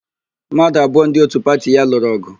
Mmadụ abụọ ndị òtú pati ya lụrụ ọgụ.